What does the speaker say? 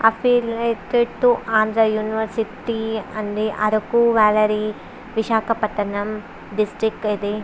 Affiliated to Andhra university అండి. Araku valley Visakhapatnam district ఇది.